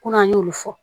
Kɔnɔ an y'olu fɔ